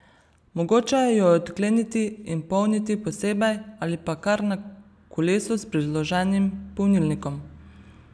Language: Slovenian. Mogoče jo je odkleniti in polniti posebej ali pa kar na kolesu s priloženim polnilnikom.